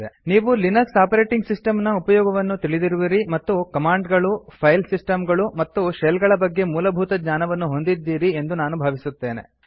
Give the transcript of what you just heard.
ನೀವು Linux operating system ನ ಉಪಯೋಗವನ್ನು ತಿಳಿದಿರುವಿರಿ ಮತ್ತು ಕಮಾಂಡ್ ಗಳು ಫೈಲ್ ಸಿಸ್ಟಮ್ ಗಳು ಮತ್ತು ಶೆಲ್ ಗಳ ಬಗ್ಗೆ ಮೂಲಭೂತಜ್ಞಾನವನ್ನು ಹೊಂದಿದ್ದೀರಿ ಎಂದು ನಾನು ಭಾವಿಸುತ್ತೇನೆ